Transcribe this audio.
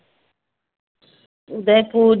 Udaipur